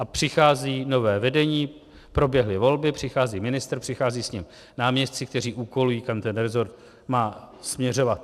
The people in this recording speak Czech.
A přichází nové vedení, proběhly volby, přichází ministr, přicházejí s ním náměstci, kteří úkolují, kam ten resort má směřovat.